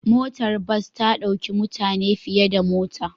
Motar bas ta ɗauki mutane fiye da mota.